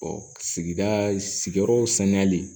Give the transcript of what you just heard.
sigida sigiyɔrɔ saniyali